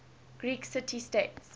greek city states